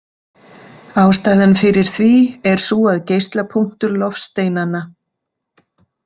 Ástæðan fyrir því er sú að geislapunktur loftsteinanna.